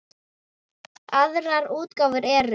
Aðrar útgáfur eru